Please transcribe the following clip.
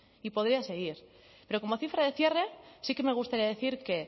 y podría seguir pero como cifra de cierre sí que me gusta decir que